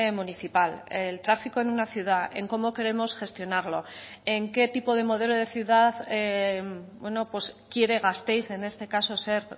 municipal el tráfico en una ciudad en cómo queremos gestionarlo en qué tipo de modelo de ciudad quiere gasteiz en este caso ser